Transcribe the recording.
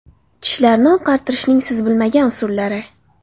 Tishlarni oqartirishning siz bilmagan usullari.